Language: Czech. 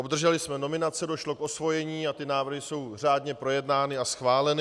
Obdrželi jsme nominace, došlo k osvojení a ty návrhy jsou řádně projednány a schváleny.